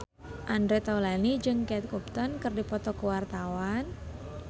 Andre Taulany jeung Kate Upton keur dipoto ku wartawan